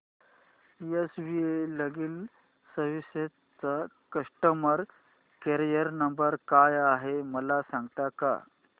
S V legal services चा customer care number काय आहे मला सांगता का